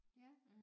Ja